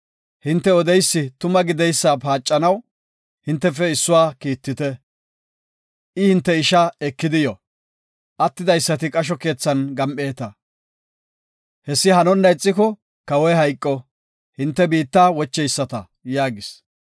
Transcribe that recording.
Hinte odeysi tuma gideysa paacanaw, hintefe issuwa kiittite. I hinte isha ekidi yo, attidaysati qasho keethan gam7eeta. Hessi hanona ixiko, Kawoy hayqo, hinte biitta wocheyisata” yaagis.